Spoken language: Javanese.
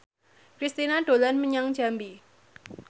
Kristina dolan menyang Jambi